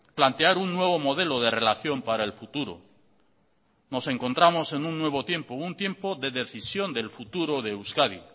plantear un nuevo modelo de relación para el futuro nos encontramos en un nuevo tiempo un tiempo de decisión del futuro de euskadi